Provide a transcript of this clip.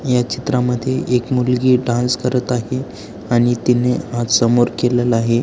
या चित्रा मध्ये एक मुलगी डान्स करत आहे आणि तिने हात समोर केलेला आहे.